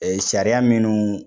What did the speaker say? Sariya minnu